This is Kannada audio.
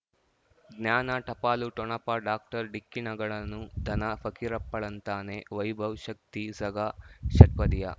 ಜ್ಞಾನ ಟಪಾಲು ಠೊಣಪ ಡಾಕ್ಟರ್ ಢಿಕ್ಕಿ ಣಗಳನು ಧನ ಫಕೀರಪ್ಪ ಳಂತಾನೆ ವೈಭವ್ ಶಕ್ತಿ ಝಗಾ ಷಟ್ಪದಿಯ